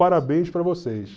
Parabéns para vocês.